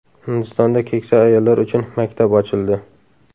Hindistonda keksa ayollar uchun maktab ochildi.